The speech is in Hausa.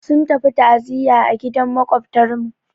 Sun tafi ta'ziyya a gidan Maƙwabtarmu.